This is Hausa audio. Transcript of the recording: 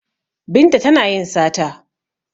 Binta tana yin sata